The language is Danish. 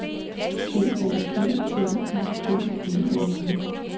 D A G L I G D A G